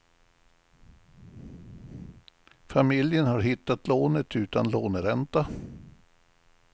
Familjen har hittat lånet utan låneränta.